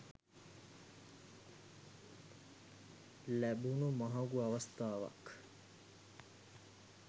ලැබුණු මහඟු අවස්ථාවක්.